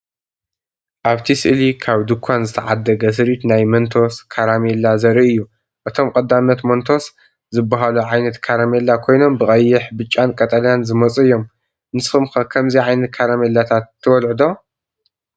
ኣብቲ ስእሊ ካብ ድኳን ዝተዓደገ ስሪት ናይቲ መንቶስ ካራሜላ ዘርኢ እዩ። እቶም ቀዳሞት "መንቶስ" ዝበሃሉ ዓይነት ካራሜላ ኮይኖም ብቐይሕ፡ ብጫን ቀጠልያን ዝመጹ እዮም። ንስኩም ከ ከምዚ ዓይነት ካራሜላታት ትበልጹ ዶ?